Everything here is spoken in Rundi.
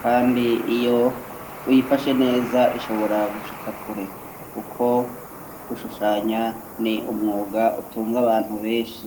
kandi iyo uyifashe neza ishobora gushikakure kuko gushushanya ni umwuga utunze abantu benshi